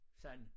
Sådan